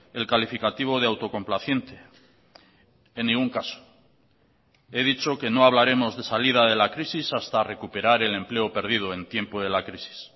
el calificativo de autocomplaciente en ningún caso he dicho que no hablaremos de salida de la crisis hasta recuperar el empleo perdido en tiempo de la crisis